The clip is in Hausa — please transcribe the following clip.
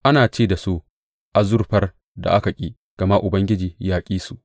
Ana ce da su azurfar da aka ƙi, gama Ubangiji ya ƙi su.